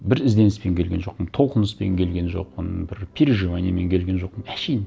біз ізденіспен келген жоқпын толқыныспен келген жоқпын бір переживаниемен келген жоқпын әншейін